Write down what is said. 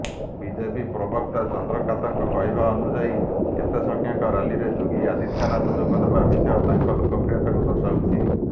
BJP ପ୍ରବକ୍ତା ଚନ୍ଦ୍ରକାନ୍ତଙ୍କ କହିବାନୁଯାୟୀ ଏତେ ସଂଖ୍ୟକ ରାଲିରେ ଯୋଗୀ ଆଦିତ୍ୟନାଥ ଯୋଗଦେବା ବିଷୟ ତାଙ୍କ ଲୋକପ୍ରିୟତାକୁ ଦର୍ଶାଉଛି